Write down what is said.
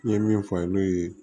N ye min fɔ n'o ye